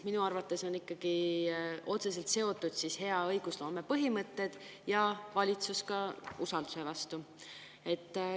Minu arvates on hea õigusloome põhimõtted ja usaldus valitsuse vastu ikkagi otseselt seotud.